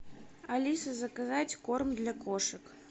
алиса заказать корм для кошек